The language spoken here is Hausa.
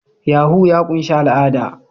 Yahoo+ ya ƙunshi al'ada